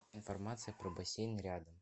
информация про бассейн рядом